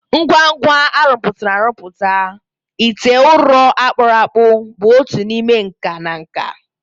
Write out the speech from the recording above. Ngwa ngwa arụpụtara arụpụtara, ite ụrọ a kpụrụ akpụ bụ otu n'ime nka na nka.